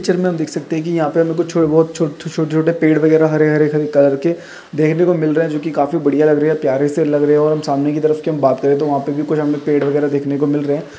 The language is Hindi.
पिक्चर में हम देख सकते है कि यहाँ पे हमें कुछ बहुत छोटे छोटे पेड़ वगेरा हरे हरे कलर के देखने को मिल रहे हैं जोकि काफी बढ़िया लग रही है प्यारे से लग रहे और हम सामने की तरफ कि बात करें तो वहाँ पे भी कुछ हमें पेड़ वगेरा देखने को मिल रहे हैं।